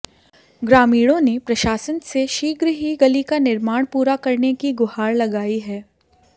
ग्रामीणों ने प्रशासन से शीघ्र ही गली का निर्माण पुरा करने की गुहार लगाई है